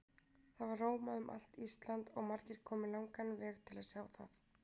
Það var rómað um allt Ísland og margir komu langan veg til að sjá það.